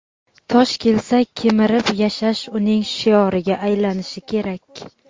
tosh kelsa kemirib yashash uning shioriga aylanishi kerak.